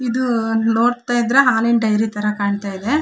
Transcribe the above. ಇದು ನೋಡ್ತ ಇದ್ರೆ ಹಾಲಿನ ಡೈರಿ ತರ ಕಾಣ್ತಾ ಇದೆ.